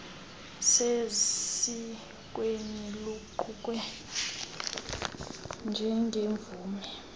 sesikweni luqukwe njengemvume